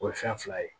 O ye fɛn fila ye